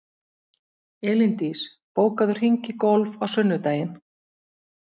Elíndís, bókaðu hring í golf á sunnudaginn.